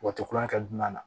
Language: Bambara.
Wa tilankɛ dunna